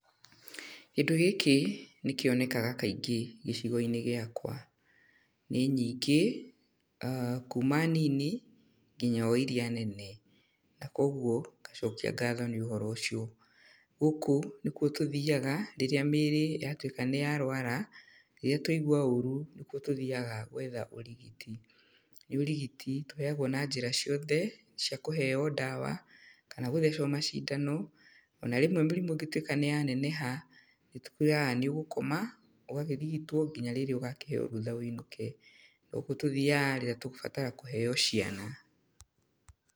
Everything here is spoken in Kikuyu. Kĩndũ gĩkĩ, nĩ kĩonekaga kaingĩ gĩcigo-inĩ gĩakwa. Nĩ nyingĩ, aah kuuma nini, nginya o irĩa nene. Na koguo, ngacokia ngatho nĩ ũhoro ũcio. Gũkũ nĩ kuo tũthiaga, rĩrĩa mĩĩrĩ yatuĩka nĩ yarũara, rĩrĩa twaigua ũũru, nĩ kuo tũthiaga gwetha ũrigiti. Nĩ ũrigiti tũheagwo na njĩra ciothe, cia kũheyo ndawa, kana gũthecwo macindano, ona rĩmwe mũrĩmu ĩngĩtuĩka nĩ yaneneha, nĩ tũkũĩraga nĩ ũgũkoma, ũgagĩrigitwo, nginya rĩrĩa ũgakĩheyo rũtha wĩinũke. No kuo tũthiaga rĩrĩa tũgũbatara kũheyo ciana.